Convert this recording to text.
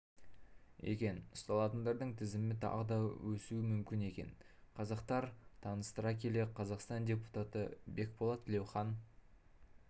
екен ұсталатындардың тізімі тағы да өсуі мүмкін екен қазақтар таныстыра келе қазақстан депутаты бекболат тілеухан